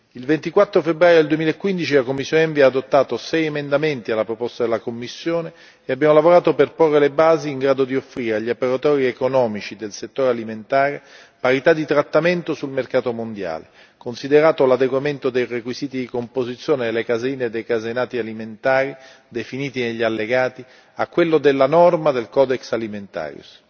Il 24 febbraio 2015 la commissione ENVI ha adottato sei emendamenti alla proposta della Commissione e abbiamo lavorato per porre le basi in grado di offrire agli operatori economici del settore alimentare parità di trattamento sul mercato mondiale, considerato l'adeguamento dei requisiti di composizione delle caseine e dei caseinati alimentari definiti negli allegati a quello della norma del Codex Alimentarius.